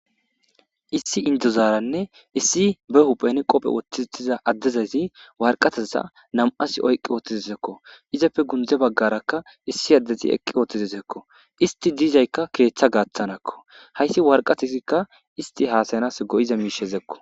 Issi indozaranne issi be huphphen qope woththiza adeza warqeteza nam'as oyik wothizesko izzeppe kunyhthe bagaraka issi adez eqqi uttidesko. Issti dizayka keththa gaththarakko. Hayssi wareqatezzika issti hassayanassi go'iza mishshakko.